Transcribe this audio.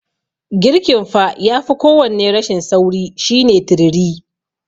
Girkin fa yafi kowanne rashin sauri shine turiri.